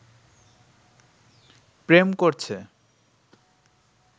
প্রেম করছে